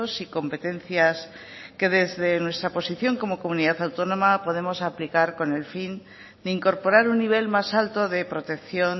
y competencias que desde nuestra posición como comunidad autónoma podemos aplicar con el fin de incorporar un nivel más alto de protección